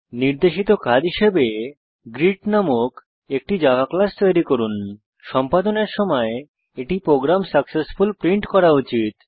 নির্দেশিত কাজ হিসাবে গ্রীট নামক একটি জাভা ক্লাস তৈরী করুন সম্পাদনের সময় এটি প্রোগ্রাম সাকসেসফুল প্রিন্ট করা উচিত